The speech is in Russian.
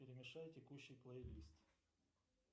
перемешай текущий плейлист